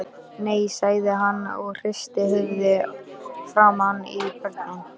Nei, sagði hann og hristi höfuðið framan í börnin.